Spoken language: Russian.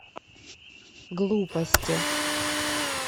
глупости